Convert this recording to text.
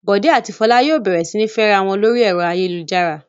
Bọ̀dé àti Fọlá yóò bẹ̀rẹ̀ sí ní fẹ́ra wọn lórí ẹ̀rọ ayélujára.